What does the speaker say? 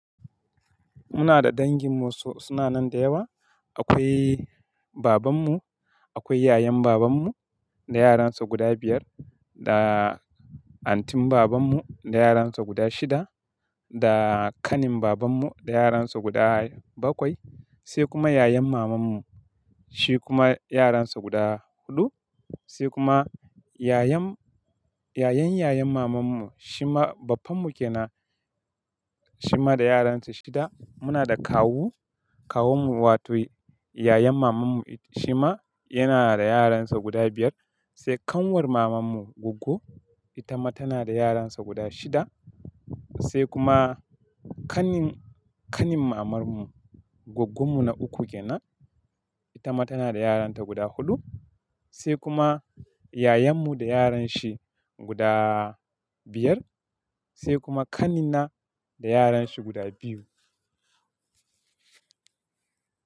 Muna da dangin mu su na nan da yawa. Akwai baban mu, akwai yayan baban mu da yaran sa guda biyar, da antin baban mu da yaran sa guda shida, da kanin baban mu da yaran sa guda bakwai, sai kuma yayan maman mu, shi kuma yaran sa guda huɗu, sai kuma yayan, yayan yayan maman mu, shi ma baffan mu ke na, shi ma da yaran sa shida. Muna da kawu, kawun mu wato yayan maman mu shi ma yana da yaran sa guda biyar. Sai ƙanwar maman mu Goggo, ita ma tana da yaran sa guda shida. Sai kuma kanin, kanin maman mu Goggu mu na uku ke na, ita ma tana da yaranta guda huɗu. Sai kuma yayan mu da yaran shi guda biyar, sai kuma ƙanina da yaran shi guda biyu.